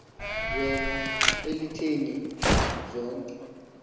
bela elityeni zonke